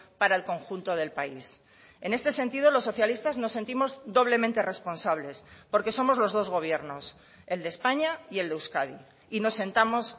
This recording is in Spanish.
para el conjunto del país en este sentido los socialistas nos sentimos doblemente responsables porque somos los dos gobiernos el de españa y el de euskadi y nos sentamos